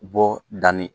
Bɔ danni